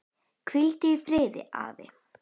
Hvíldu í friði, afi.